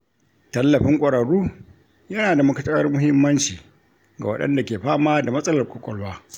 Tallafin ƙwararru yana da matuƙar muhimmanci ga waɗanda ke fama da matsalar ƙwaƙwalwa.